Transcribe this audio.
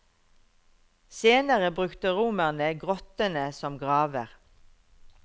Senere brukte romerne grottene som graver.